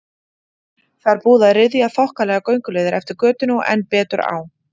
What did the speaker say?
Það er búið að ryðja þokkalega gönguleið eftir götunni og enn betur á